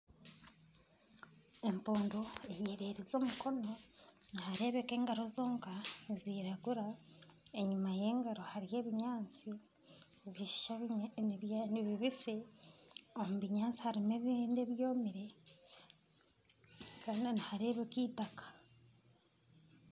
Empundu eyererize omukono nihareebeka engaro zonka niziragura, enyuma y'engaro hariyo ebinyaatsi nibibisi ,omu binyaatsi harimu ebindi ebyomire hoona nihareebeka eitaka.